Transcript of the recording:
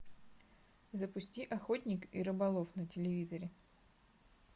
запусти охотник и рыболов на телевизоре